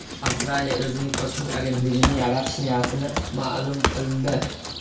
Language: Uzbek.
Avstraliya o‘zining kosmik agentligini yaratish niyatini ma’lum qildi.